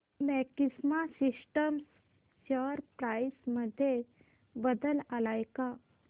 maxima systems share price मध्ये बदल आलाय का